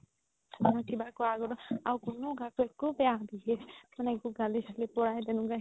আৰু কিবা এটা কুৱা আগতও আৰু কোনো কাকো একো বেয়া behave মানে একো গালি চালি পৰাই তেনেকুৱা